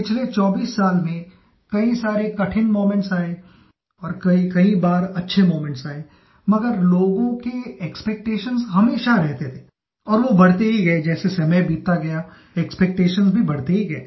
पिछले 24 साल में कई सारे कठिन मोमेंट्स आये और कईकई बार अच्छे मोमेंट्स आये मगर लोगों के एक्सपेक्टेशंस हमेशा रहते थे और वो बढ़ते ही गये जैसे समय बीतता गया एक्सपेक्टेशंस भी बढ़ते ही गए